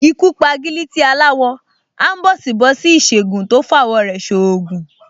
Ikú p’agílítí aláwọ, áḿbọ̀sìbọ̀sí Ìsègùn tó f’awọ̀ rẹ̀ ṣ’oògùn